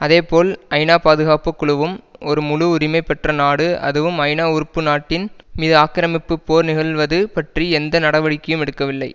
அதேபோல் ஐநா பாதுகாப்பு குழுவும் ஒரு முழு உரிமை பெற்ற நாடு அதுவும் ஐநா உறுப்பு நாட்டின் மீது ஆக்கிரமிப்பு போர் நிகழ்வது பற்றி எந்த நடவடிக்கையும் எடுக்கவில்லை